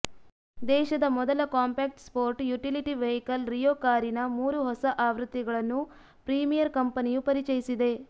ದೇಶದ ಮೊದಲ compact sport utility vehicle Rio ಕಾರಿನ ಮೂರು ಹೊಸ ಆವೃತ್ತಿಗಳನ್ನು ಪ್ರೀಮಿಯರ್ ಕಂಪನಿಯು ಪರಿಚಯಿಸಿದೆ